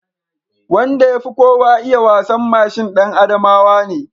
Wanda ya fi kowa iya wasan mashin ɗan Adamawa ne